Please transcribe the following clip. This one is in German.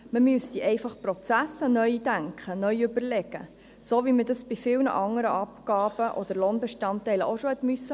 Man müsste einfach die Prozesse neu denken und neu überlegen, wie man dies bei vielen anderen Abgaben oder Lohnbestandteilen auch schon tun musste.